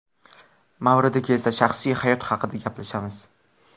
Mavridi kelsa, shaxsiy hayot haqida gaplashamiz.